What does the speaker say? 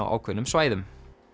á ákveðnum svæðum